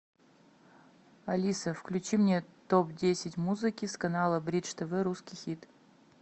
алиса включи мне топ десять музыки с канала бридж тв русский хит